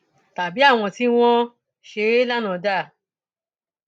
tàbí àwọn tí wọn ṣe é lánàá dà